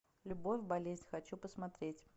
любовь болезнь хочу посмотреть